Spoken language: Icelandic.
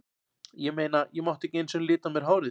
Ég meina, ég mátti ekki einu sinni lita á mér hárið.